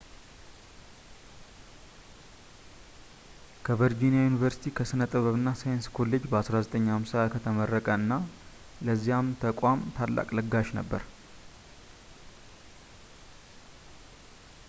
ከቨርጂኒያ ዩኒቨርሲቲ ከሥነ ጥበብ እና ሳይንስ ኮሌጅ በ1950 ከተመረቀ እና ለዚያ ተቋም ታላቅ ለጋሽ ነበር